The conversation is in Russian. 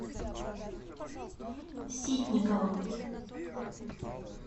ситниковым